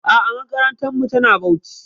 A'a makarantarmu tana Bauchi.